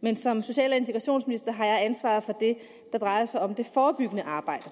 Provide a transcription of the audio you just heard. men som social og integrationsminister har jeg ansvaret for det der drejer sig om det forebyggende arbejde